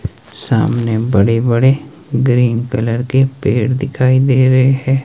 सामने बड़े-बड़े green colour के पेड़ दिखाई दे रहे हैं।